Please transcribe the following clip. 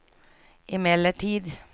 emellertid